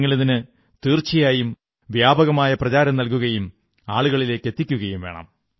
നിങ്ങളിതിന് തീർച്ചയായും വ്യാപകമായ പ്രചാരം നല്കുകയും ആളുകളിലെത്തിക്കുകയും ചെയ്യണം